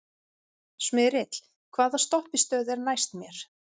Smyrill, hvaða stoppistöð er næst mér?